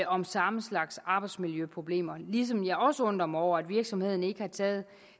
om samme slags arbejdsmiljøproblemer ligesom jeg også undrer mig over at virksomheden ikke har taget